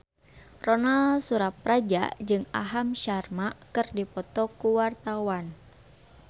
Ronal Surapradja jeung Aham Sharma keur dipoto ku wartawan